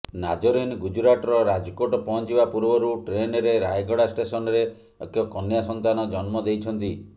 ନାଜରିନ୍ ଗୁଜୁରାଟର ରାଜକୋଟ ପହଞ୍ଚିବା ପୂର୍ବରୁ ଟ୍ରେନରେ ରାୟଗଡ଼ ଷ୍ଟେଶନରେ ଏକ କନ୍ୟା ସନ୍ତାନ ଜନ୍ମଦେଇଛନ୍ତି